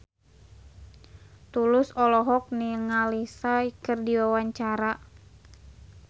Tulus olohok ningali Psy keur diwawancara